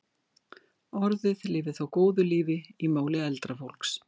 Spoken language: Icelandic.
Orðið lifir þó góðu lífi í máli eldra fólks.